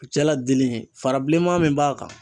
jala dili fara bilenman min b'a kan.